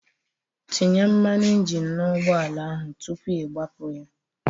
Tinye mmanụ injin n'ụgbọ ala ahụ tupu ị gbapụ ya!